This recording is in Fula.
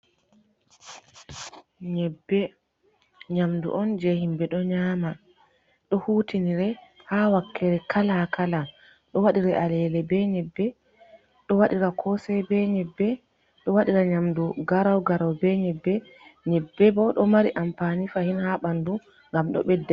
Nyebbe nyamdu on jey himɓe ɗo nyaama, ɗo hutinire haa wakkere kala kala. Ɗo waɗiri alele be nyebbe, ɗo waɗira kosey be nyebbe, ɗo waɗira nyamdu garawgaraw be nyebbe. Nyebbe bo ɗo mari ampani fahin, haa ɓanndu, ngam ɗo ɓedda.